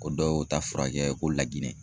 Ko dɔw ta furakɛ ko laginɛ.